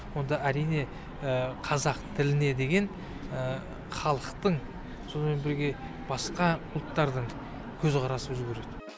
онда әрине қазақ тіліне деген халықтың сонымен бірге басқа ұлттардың көзқарасы өзгереді